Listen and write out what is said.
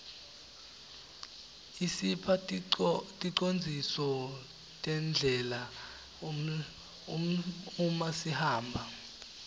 isipha ticondziso terdlela umasihamba